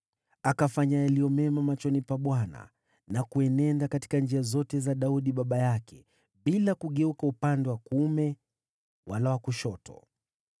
Akafanya yaliyo mema machoni pa Bwana na kuenenda katika njia zote za Daudi baba yake. Hakugeuka upande wa kuume wala wa kushoto.